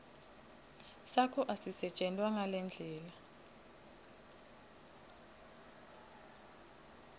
sakho asisetjentwa ngendlela